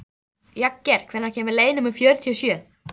Jagger, hvenær kemur leið númer fjörutíu og sjö?